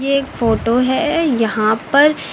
एक फोटो है यहां पर।